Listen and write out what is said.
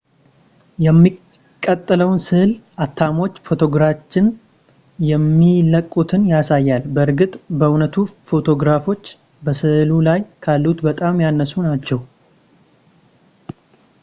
የሚቀጥለው ስዕል አተሞች ፎቶግራፎችን የሚለቁትን ያሳያል በእርግጥ በእውነቱ ፎቶግራፎች በስዕሉ ላይ ካሉት በጣም ያነሱ ናቸው